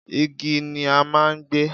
igi ni a máà ń gbé